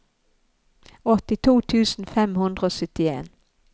åttito tusen fem hundre og syttien